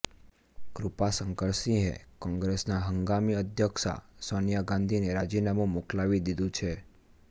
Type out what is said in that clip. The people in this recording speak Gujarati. કૃપાશંકર સિંહએ કોંગ્રેસના હંગામી અધ્યક્ષા સોનિયા ગાંધીને રાજીનામું મોકલાવી દીધું છે